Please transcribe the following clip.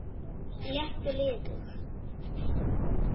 létt og liðug